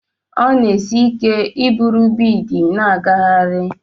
Ọ na-esi ike iburu biidi n'agagharị.